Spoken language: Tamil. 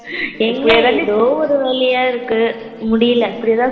எங்க ஏதோ ஒரு இருக்கு முடியல